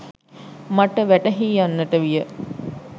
මට වැටහී යන්නට විය.